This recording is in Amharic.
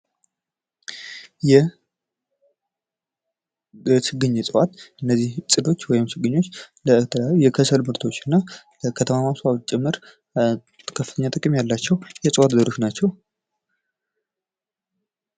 የችግኝ እጽዋት እነዚህ ጽዶች ወይም ችግኞች ለተለያዩ የከሰል ምርቶችና ለከተማ መስፋፋ ት ጭምር ከፍተኛ አስተዋጽኦ ያላቸው እዋቶች ናቸው።